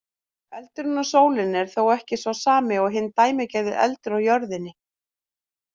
Eldurinn á sólinni er þó ekki sá sami og hinn dæmigerði eldur á jörðinni.